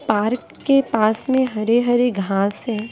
Park के पास में हरे-हरे घास हैं।